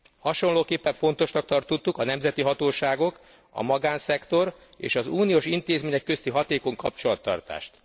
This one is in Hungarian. Hasonlóképpen fontosnak tartottuk a nemzeti hatóságok, a magánszektor és az uniós intézmények közti hatékony kapcsolattartást.